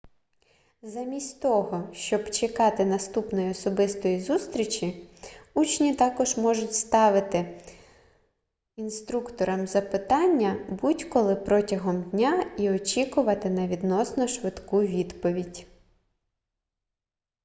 замість того щоб чекати наступної особистої зустрічі учні також можуть ставити інструкторам запитання будь-коли протягом дня і очікувати на відносно швидку відповідь